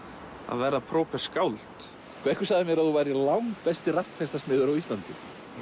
verða skáld einhver sagði mér að þú værir langbesti rapptextasmiður á Íslandi